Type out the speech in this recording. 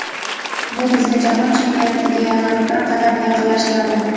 Bu bizni jahon chempionatiga yana bir qadam yaqinlashtiradi.